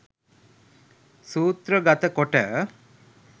සූත්‍රගත කොට